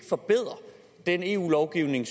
forbedre den eu lovgivning